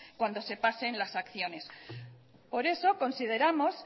cuando se pasen las acciones por eso consideramos